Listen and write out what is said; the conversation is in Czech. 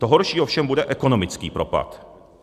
To horší ovšem bude ekonomický propad.